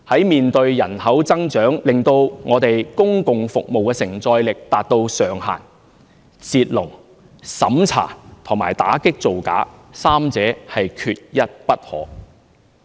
面對人口增長令我們公共服務的承載力達至上限時，"截龍"、審查和打擊造假，三者缺一不可。